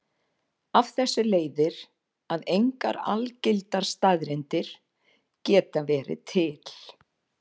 Af þessu leiðir að engar algildar staðreyndir geta verið til.